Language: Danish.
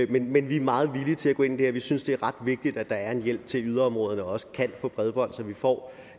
det men vi er meget villige til at gå ind i det her vi synes det er ret vigtigt at der er en hjælp til at yderområderne også kan få bredbånd så vi får